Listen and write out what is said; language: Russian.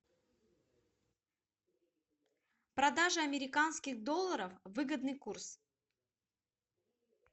продажа американских долларов выгодный курс